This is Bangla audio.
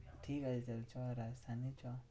ঠিক আছে তাহলে চো রাজস্থানেই চো।